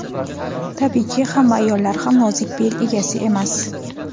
Tabiiyki, hamma ayollar ham nozik bel egasi emas.